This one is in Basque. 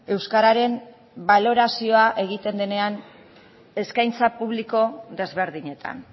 euskararen balorazioa egiten denean eskaintza publiko desberdinetan